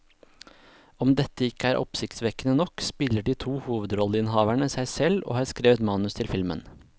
Om dette ikke er oppsiktsvekkende nok, spiller de to hovedrolleinnehaverne seg selv og har skrevet manus til filmen.